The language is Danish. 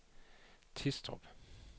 Tistrup